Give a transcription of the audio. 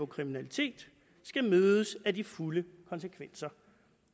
kriminalitet skal mødes af de fulde konsekvenser